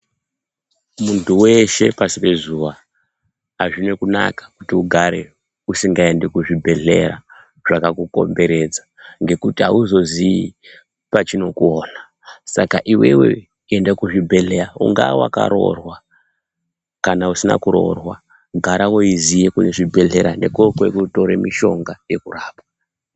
Muntu weshe pasi pe zuva azvina kunaka kuti ugare usingaendi ku zvibhedhlera zvaka kukomberedza ngekuti auzozii pachino kuoona saka iwewe enda ku zvi bhedhleya unga waka roorwa kana usina kurorwa gara weiiziya kune zvibhedhlera ngeko kwekuno tora mushonga weku rapwa.